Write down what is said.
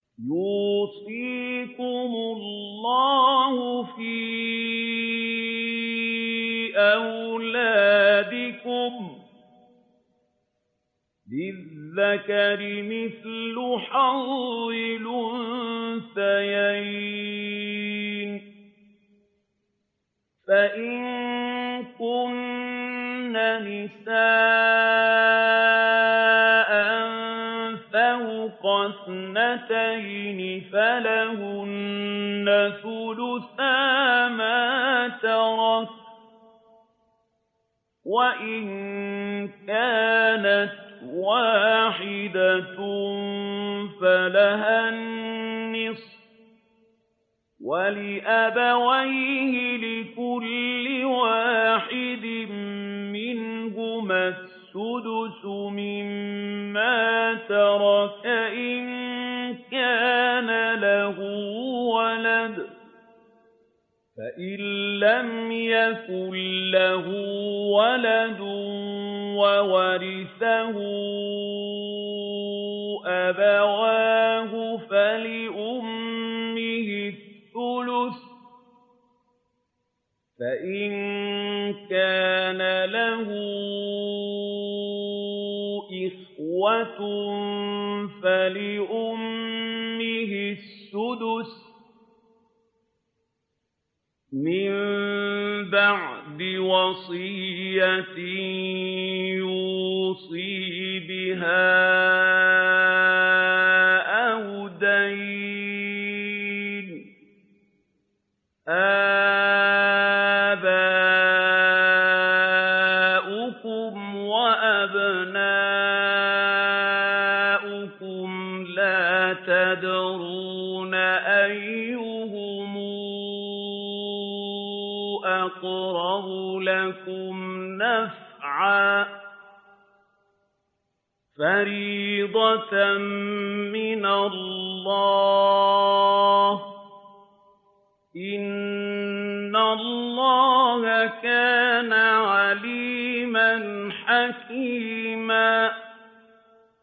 يُوصِيكُمُ اللَّهُ فِي أَوْلَادِكُمْ ۖ لِلذَّكَرِ مِثْلُ حَظِّ الْأُنثَيَيْنِ ۚ فَإِن كُنَّ نِسَاءً فَوْقَ اثْنَتَيْنِ فَلَهُنَّ ثُلُثَا مَا تَرَكَ ۖ وَإِن كَانَتْ وَاحِدَةً فَلَهَا النِّصْفُ ۚ وَلِأَبَوَيْهِ لِكُلِّ وَاحِدٍ مِّنْهُمَا السُّدُسُ مِمَّا تَرَكَ إِن كَانَ لَهُ وَلَدٌ ۚ فَإِن لَّمْ يَكُن لَّهُ وَلَدٌ وَوَرِثَهُ أَبَوَاهُ فَلِأُمِّهِ الثُّلُثُ ۚ فَإِن كَانَ لَهُ إِخْوَةٌ فَلِأُمِّهِ السُّدُسُ ۚ مِن بَعْدِ وَصِيَّةٍ يُوصِي بِهَا أَوْ دَيْنٍ ۗ آبَاؤُكُمْ وَأَبْنَاؤُكُمْ لَا تَدْرُونَ أَيُّهُمْ أَقْرَبُ لَكُمْ نَفْعًا ۚ فَرِيضَةً مِّنَ اللَّهِ ۗ إِنَّ اللَّهَ كَانَ عَلِيمًا حَكِيمًا